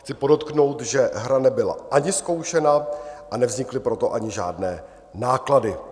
Chci podotknout, že hra nebyla ani zkoušena, a nevznikly proto ani žádné náklady.